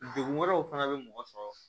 Degun wɛrɛw fana bɛ mɔgɔ sɔrɔ